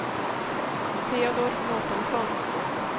Teodor Mårtensson